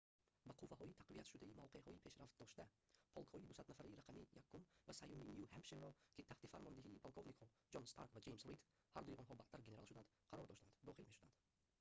ба қувваҳои тақвиятшудаи мавқеъҳои пешравдошта полкҳои 200-нафараи рақами 1-ум ва 3-юми ню-ҳемпширро ки таҳти фармондиҳии полковникҳо ҷон старк ва ҷеймс рид ҳардуи онҳо баъдтар генерал шуданд қарор доштанд дохил мешуданд